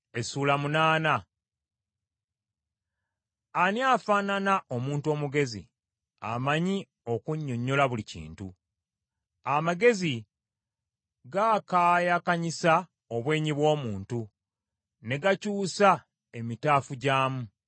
Ani afaanana omuntu omugezi amanyi okunnyonnyola buli kintu? Amagezi gaakaayakanyisa obwenyi bw’omuntu, ne gakyusa emitaafu gyamu.